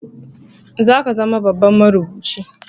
Zaka zama babban marubuci